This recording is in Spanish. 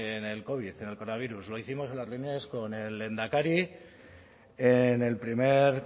en el covid en el coronavirus lo hicimos en las primas con el lehendakari en el primer confinamiento lo hicimos en las reuniones con el lehendakari en el primer